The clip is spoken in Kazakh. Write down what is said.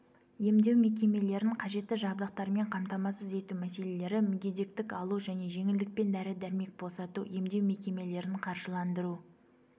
емдеу мекемелерін қажетті жабдықтармен қамтамасыз ету мәселелері мүгедектік алу және жеңілдікпен дәрі-дәрмек босату емдеу мекемелерін қаржыландыру